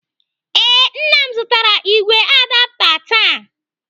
Ee, Nna m zụtara igwe adapta taa.